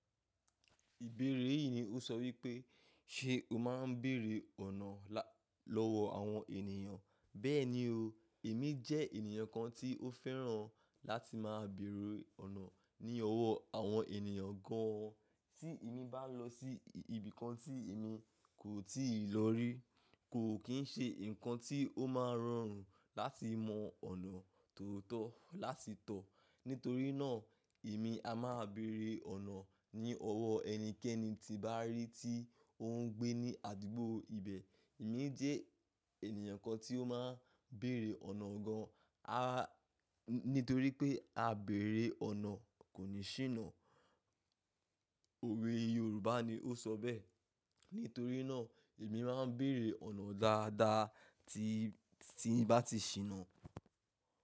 Ìbéèrè yìí ni ó sọ wípé, ṣe o máa ń bèèrè ọ̀nà lọ́wọ́ àwọn ènìyàn? Bẹ́ẹ̀ni o, èmi jẹ́ ènìyàn kan tí ó fẹ́ràn láti máa bèèrè ọ̀nà ní ọwọ́ àwọn ènìyàn gan an. Tí èmi bá lọ sí ibìkan tí èmi kò tíì lọ rí, kò kì ń ṣe nǹkan tí ó máa rọrùn láti mọ ọ̀nà tó tọ́ láti tọ̀. Nítorí náà èmi a máa bèèrè ọ̀nà ní ọwọ́ ẹnikẹ́ni tí bàá rí tí ó ń gbé ní àdúgbò ibẹ̀. Èmi jẹ́ ènìyàn kan tí ó máa ń bèèrè ọ̀nà gan an. Nítorí pé Àbèrè ọ̀nà kò ní ṣíná. Òwe Yorùbá ni ó sọ bẹ́ẹ̀. Nítorí náà èmi máa ń bèèrè ọ̀nà dáadáa tí, tí bá ti ṣíná.